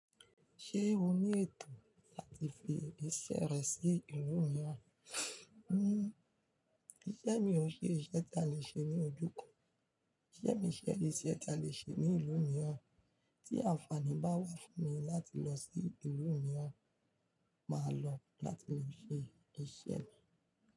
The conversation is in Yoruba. Ṣé o ní ètò láti fi iṣẹ́ rẹ sí ìlú mìíràn? Iṣẹ́ mi ò ṣe iṣẹ́ ta lè ṣe ní ojúkan, iṣẹ́ mi ṣe iṣẹ́ ta lè ṣe ní ìlú mìíràn. Tí àǹfààní bá wá fún mi láti lọ sí ìlú mìíràn, màá lọ láti le ṣe iṣẹ́ mi.